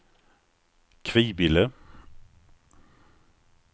Kvibille